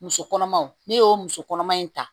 Muso kɔnɔmaw ne y'o muso kɔnɔma in ta